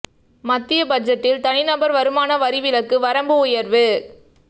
மத்திய பட்ஜெட்டில் தனி நபர் வருமான வரி விலக்கு வரம்பு உயர்வு